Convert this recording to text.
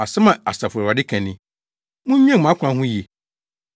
Asɛm a, Asafo Awurade ka ni: “Munnwen mo akwan ho yiye.